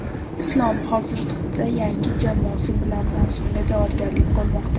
Islom hozirda yangi jamoasi bilan mavsumga tayyorgarlik ko‘rmoqda.